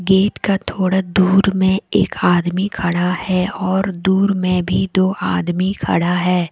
Gate का थोड़ा दूर में एक आदमी खड़ा है और दूर में भी दो आदमी खड़ा है।